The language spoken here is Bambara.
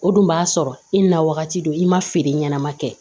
O dun b'a sɔrɔ i na wagati do i ma feere ɲɛnama kɛ